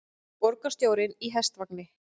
Borgarstjórinn í hestvagni